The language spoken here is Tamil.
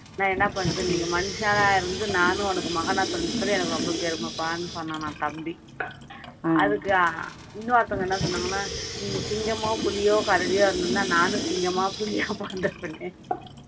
நான் என்ன பண்றது நீங்க மனுஷனா இருந்து நானும் உனக்கு மகனா பிறந்ததுல எனக்கு ரொம்ப பெருமைப்பான்னு சொன்னானாம் தம்பி அதுக்கு இன்னொருத்தவங்க என்ன சொன்னாங்கன்னா நீங்க சிங்கமோ, புலியோ, கரடியோ இருந்திருந்தா நானும் சிங்கமா, புலியா பொறந்திருப்பேனே